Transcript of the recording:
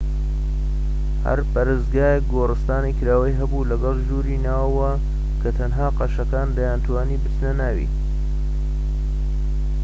هەر پەرستگایەک گۆرستانی کراوەی هەبوو لەگەڵ ژووری ناوەوە کە تەنها قەشەکان دەیانتوانی بچنە ناوی